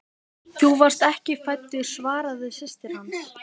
Þú varst ekki fæddur svaraði systir hans.